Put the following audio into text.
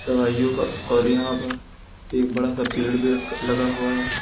दवाइयों का और यहां पर एक बड़ा सा पेड़ भी लगा हुआ है।